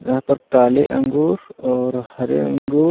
यहां पर काले अंगूर और हरे अंगूर--